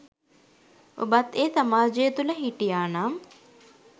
ඔබත් ඒ සමාජය තුළ හිටියා නම්